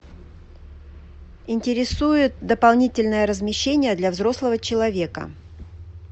интересует дополнительное размещение для взрослого человека